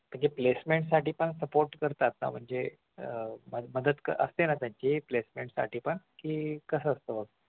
म्हणजे placement साठी पण support करतात ना म्हणजे अह मदत असते ना त्यांची placement साठी पण की कसं असतं